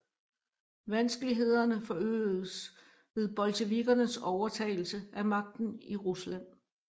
Vanskelighederne forøgedes ved bolsjevikernes overtagelse af magten i Rusland